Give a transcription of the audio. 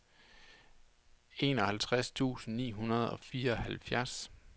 enoghalvtreds tusind ni hundrede og fireoghalvfjerds